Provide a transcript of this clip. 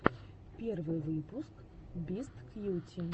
первый выпуск бисткьюти